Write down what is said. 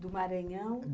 Do Maranhão?